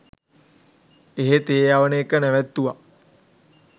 එහෙ තේ යවන එක නැවත්තුව